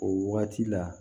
O waati la